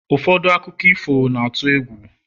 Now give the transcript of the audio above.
ụfọdụ akụkọ ifo na-atụ egwu